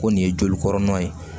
Ko nin ye joli kɔrɔ ye